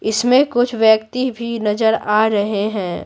इसमें कुछ व्यक्ति भी नजर आ रहे हैं।